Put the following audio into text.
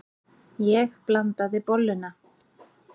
Ég blandaði bolluna.